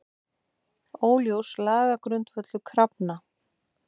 Óljós lagagrundvöllur krafna